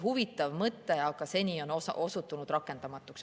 Huvitav mõte, aga seni on osutunud rakendamatuks.